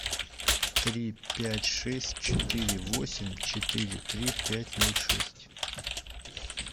три пять шесть четыре восемь четыре три пять ноль шесть